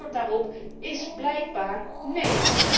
En het antwoord daarop is blijkbaar 'nee'.